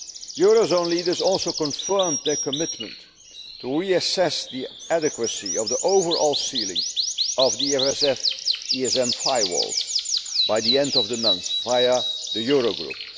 this. Euro area leaders also confirmed their commitment to reassess the adequacy of the overall ceiling of the EFSF ESM firewall by the end of the month, via the Euro